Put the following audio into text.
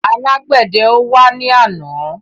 Alágbèdẹ ò wá ní àná.